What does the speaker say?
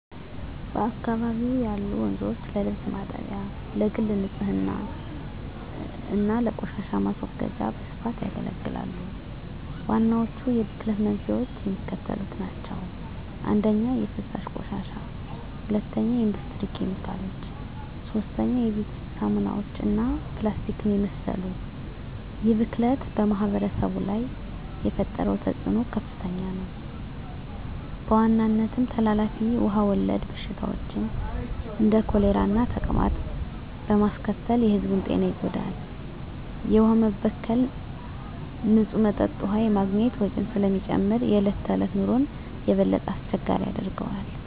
በአካባቢው ያሉ ወንዞች ለልብስ ማጠቢያ፣ ለግል ንፅህና እና ለቆሻሻ ማስወገጃ በስፋት ያገለግላሉ። ዋናዎቹ የብክለት መንስኤዎች የሚከተሉት ናቸው - 1) የፍሳሽ ቆሻሻ 2) የኢንዱስትሪ ኬሚካሎች 3) የቤት ውስጥ ሳሙናዎች እና ፕላስቲክን የመሰሉ ይህ ብክለት በማኅበረሰቡ ላይ የፈጠረው ተፅዕኖ ከፍተኛ ነው፤ በዋናነትም ተላላፊ ውሃ ወለድ በሽታዎችን (እንደ ኮሌራና ተቅማጥ) በማስከተል የሕዝቡን ጤና ይጎዳል። የውሃ መበከል ንፁህ መጠጥ ውሃ የማግኘት ወጪን ስለሚጨምር የዕለት ተዕለት ኑሮን የበለጠ አስቸጋሪ ያደርገዋል።